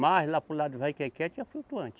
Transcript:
Mais lá para o lado do Vai quem quer, tinha flutuante.